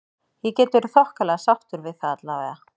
Ég get verið þokkalega sáttur við það allavega.